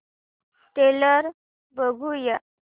trailer बघूया